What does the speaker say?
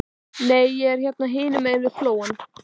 Huxley, hækkaðu í græjunum.